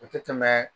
O tɛ tɛmɛɛ